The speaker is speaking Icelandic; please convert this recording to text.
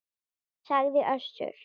sagði Össur.